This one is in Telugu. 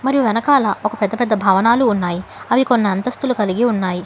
మరియు వెనకాల ఒక పెద్ద పెద్ద భవనాలు ఉన్నాయి అవి కొన్ని అంతస్తులు కలిగి ఉన్నాయి.